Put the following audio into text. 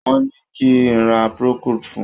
Wọ́n ní kí n ra procold fun.